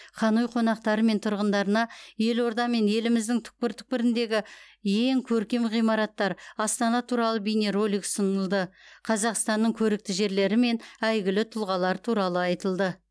ханой қонақтары мен тұрғындарына елорда мен еліміздің түкпір түкпіріндегі ең көркем ғимараттар астана туралы бейнеролик ұсынылды қазақстанның көрікті жерлері мен әйгілі тұлғалары туралы айтылды